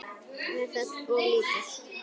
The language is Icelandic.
Er það of lítið?